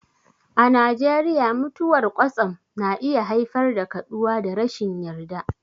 A Najeriya, mutuwar kwatsam na iya haifar da kaduwa da rashin yarda.